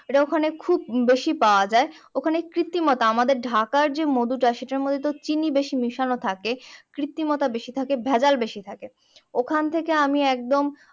এটা ওখানে খুব বেশি পাওয়া যায় ওখানে কিত্রিমতা মাদের ঢাকার যে মধুটা সেটা মধ্যে তো চিনি বেশি মেশানো থাকে কিত্রিমতা বেশি থাকে ভেজাল বেশি থাকে ওখান থেকে আমি একদম